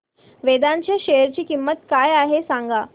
वेदांत च्या शेअर ची किंमत काय आहे सांगा